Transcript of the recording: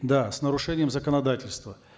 да с нарушением законодательства